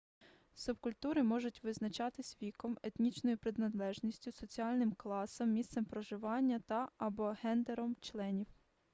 субкультури можуть визначатись віком етнічною приналежністю соціальним класом місцем проживання та/або ґендером членів